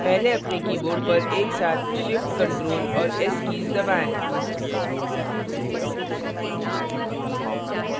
पहले अपने keyboard पर एक साथ shift ctrl और s कीज दबाएं